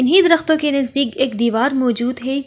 इन्हीं दरख़्तों के नजदीक एक दीवार मौजूद है।